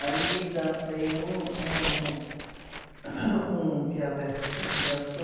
Aí dancei um, um, um que a também dançou.